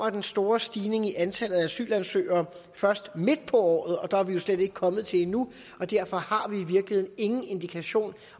at den store stigning i antallet af asylansøgere først kom midt på året og der er vi jo slet ikke kommet til endnu derfor har vi i virkeligheden ingen indikation